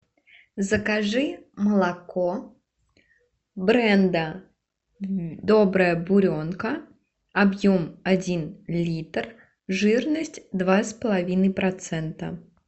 закажи молоко бренда добрая буренка объем один литр жирность два с половиной процента